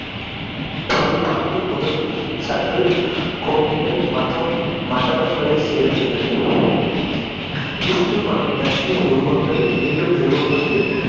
பழுதுபார்ப்பு, முதல் சற்று கோட்டைகள் மற்றும் மண்டபங்களைச் சேர்ந்தது. விஷ்ணு மற்றும் லக்ஷ்மி உருவங்கள் மீண்டும் நிறுவப்பட்டு